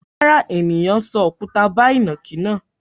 Rárá, ènìyàn sọ òkúta bá ìnàkí náà.